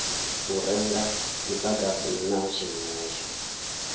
u renga mudagasi na zwenezwo